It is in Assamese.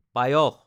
পায়স